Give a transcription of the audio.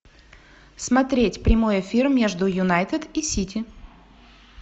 смотреть прямой эфир между юнайтед и сити